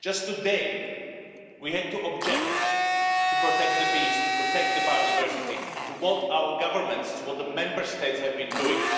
Just today we had to object to protect the bees, to protect the biodiversity, to what our governments and the Member States have been doing.